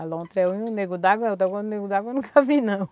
A lontra é um Nego d'água, o Nego d'água eu nunca vi, não.